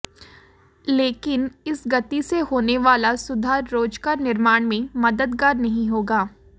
लेकिन इस गति से होने वाला सुधार रोजगार निर्माण में मददगार नहीं होगा